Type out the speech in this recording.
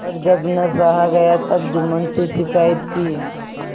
पर जब न सहा गया तब जुम्मन से शिकायत की